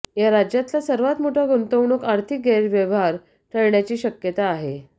हा राज्यातला सर्वात मोठा गुंतवणूक आर्थिक गैरव्यवहार ठरण्याची शक्यता आहे